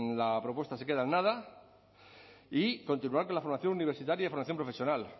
la propuesta se queda en nada y continuar con la formación universitaria y formación profesional